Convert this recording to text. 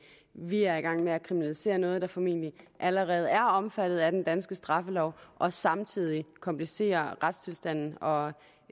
vi er i gang med at kriminalisere noget der formentlig allerede er omfattet af den danske straffelov og samtidig komplicere retstilstanden og